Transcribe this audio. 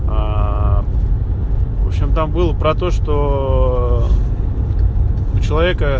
аа в общем там было про то что у человека